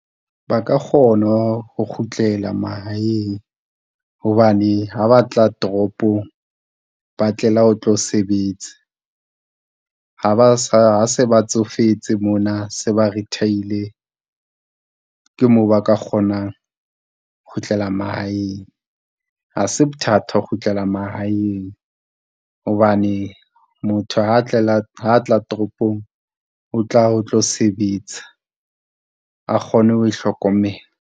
Ba ka kgona ho kgutlela mahaeng, hobane ha ba tla toropong, ba tlela o tlo sebetsa. Ha ba sa, ha se ba tsofetse mona se ba re retire-ile, ke moo ba ka kgonang ho kgutlela mahaeng. Ha se bothata ho kgutlela mahaeng, hobane motho ha a tlela, ha a tla toropong, o tla o tlo sebetsa a kgone ho ihlokomela.